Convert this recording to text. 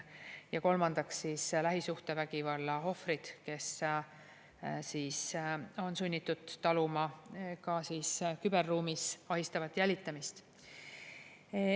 Ja kolmandaks, lähisuhtevägivalla ohvrid, kes on sunnitud taluma ka küberruumis ahistavat jälitamist.